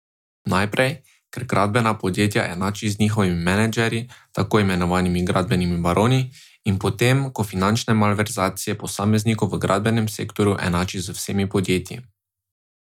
Najprej, ker gradbena podjetja enači z njihovimi menedžerji, tako imenovanimi gradbenimi baroni, in potem ko finančne malverzacije posameznikov v gradbenem sektorju enači z vsemi podjetji.